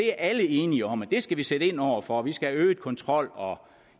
er alle enige om at vi skal sætte ind over for vi skal have øget kontrol og